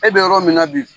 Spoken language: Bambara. E bɛ yɔrɔ min na bi